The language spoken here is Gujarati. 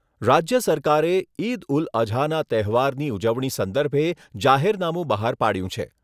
રાજ્ય સરકારે, ઇદ ઉલ અઝાના તહેવારની ઉજવણી સંદર્ભે જાહેરનામું બહાર પાડ્યું છે.